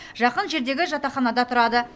жақын жердегі жатақханада тұрады